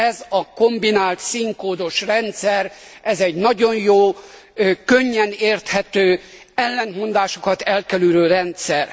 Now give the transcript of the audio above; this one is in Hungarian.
Ez a kombinált színkódos rendszer egy nagyon jó, könnyen érthető, ellentmondásokat elkerülő rendszer.